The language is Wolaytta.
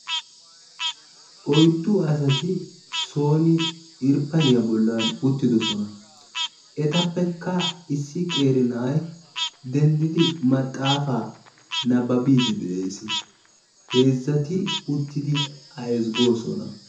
Oyddu asati sooni irppaniya bollaani uttidosona. Etappekka issi qeera na'ay denddidi maxaafaa nabbabiiddi de'ees. Heezzati uttidi A ezggoosona.